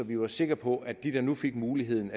vi var sikre på at de der nu fik muligheden